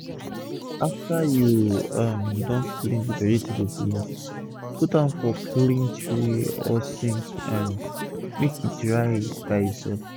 after u um don clean d vegetable finish put am for clean tray or sack um make e dry by e sef